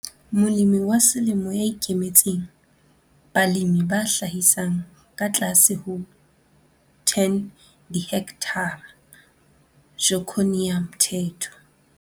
Molemi wa Selemo ya Ikemetseng, balemi ba hlahisang ka tlase ho 10 dihekthara - Joconia Mthethwa.